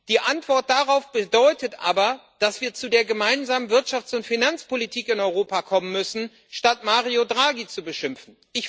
Die Antwort darauf bedeutet aber, dass wir zu der gemeinsamen Wirtschafts und Finanzpolitik in Europa kommen müssen, statt Mario Draghi zu beschimpfen.